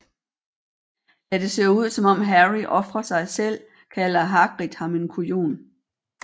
Da det ser ud som om Harry ofrer sig selv kalder Hagrid ham en kujon